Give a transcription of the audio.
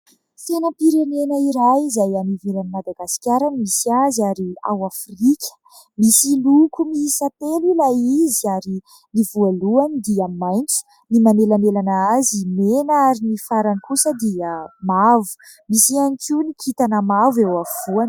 Sainam-pirenena iray izay any ivelan'i Madagasikara no misy azy, ary ao Afrika. Misy loko miisa telo ilay izy ary ny voalohany dia maitso, ny manelanelana azy mena, ary ny farany kosa dia mavo ; misy ihany koa ny kintana mavo eo afovoany.